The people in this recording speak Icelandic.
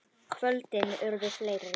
Kvöldin urðu fleiri.